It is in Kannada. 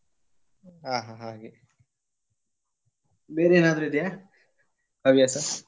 ಹಾ ಹಾ ಹಾಗೆ ಬೇರೆ ಏನಾದ್ರು ಇದೆಯಾ ಹವ್ಯಾಸ?